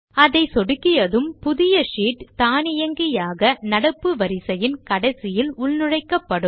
அதை சொடுக்கியதும் புதிய ஷீட் தானியங்கியாக நடப்பு வரிசையின் கடைசியில் உள்நுழைக்கப்படும்